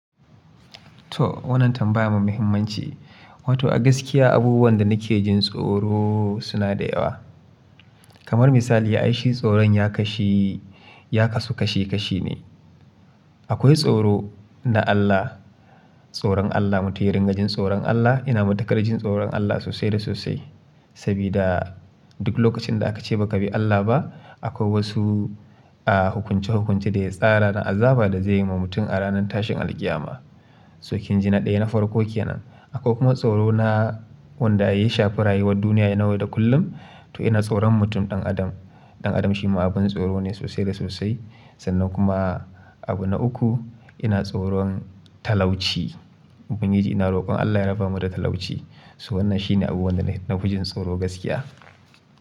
To wannan tambaya mai muhimmanci. Wato a gaskiya abubuwan da nake jin tsoro suna da yawa. Kamar misali ai shi tsoron ya kasu, ya kasu kashi kashi ne. Akwai tsoro na Allah, tsoron Allah. Mutum ya ringa jin tsoron Allah. Ina matukar jin tsoron Allah sosai da sosai. Sabida duk lokacin da aka ce ba ka bi Allah ba akwai wasu, ah hukunce-hukunce da ya tsara na azaba da zai yi wa mutum a ranar tashin alqiyama. To kin ji na daya na farko ke nan. Akwai kuma tsoro na wanda ya shafi rayuwar duniya na yau da kullum. To ina tsoron mutum ɗan adam. Ɗan adam shi ma abin tsoro ne sosai da sosai. Sannan kuma abu na uku ina tsoron talauci. Ubangiji ina rokon Allah ya rabamu da talauci. To wannan shi ne abu wanda na fi jin tsoro gaskiya.